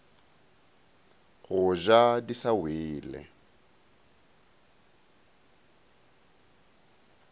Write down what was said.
go ja di sa wele